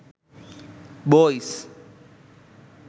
boys